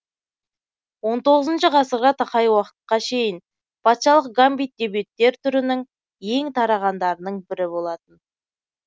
он тоғызыншы ғасырға тақай уақыттқа шейін патшалық гамбит дебюттер түрінің ең тарағандарының бірі болатын